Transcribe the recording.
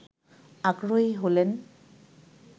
আগ্রহী হলেন